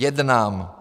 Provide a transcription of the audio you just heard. Jednám.